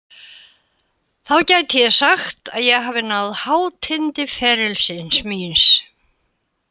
Þá gæti ég sagt að ég hafi náð hátind ferilsins míns.